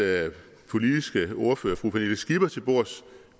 politiske ordfører fru pernille skipper til bords